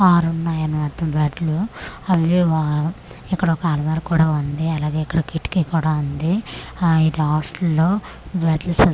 ఆరున్నాయని మొత్తం బ్యాట్ లు అవి ఏమో ఇక్కడ ఒక అల్మార కూడా ఉంది అలాగే ఇక్కడ ఒక కిటికీ కూడా ఉంది ఆ ఇది హాస్టల్ లో మెట్ల సంద్ --